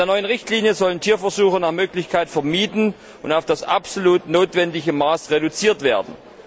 Mit der neuen Richtlinie sollen Tierversuche nach Möglichkeit vermieden und auf das absolut notwendige Maß reduziert werden.